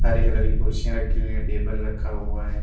हरे colour की कुर्सियां रखी हुई हैं टेबल रखा हुआ है।